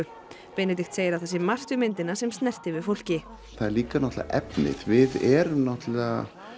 Benedikt segir að það sé margt við myndina sem snerti við fólki það er líka náttúrulega efnið við erum náttúrulega